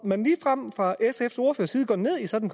man ligefrem fra sfs ordførers side går ned i sådan